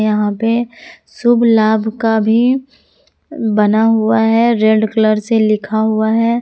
यहां पे शुभ लाभ का भी बना हुआ है रेड कलर से लिखा हुआ है।